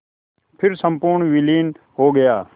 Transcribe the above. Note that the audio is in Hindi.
फिर संपूर्ण विलीन हो गया